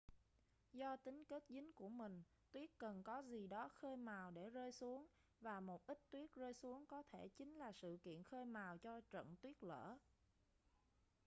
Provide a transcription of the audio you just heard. do tính kết dính của mình tuyết cần có gì đó khơi mào để rơi xuống và một ít tuyết rơi xuống có thể chính là sự kiện khơi mào cho trận tuyết lở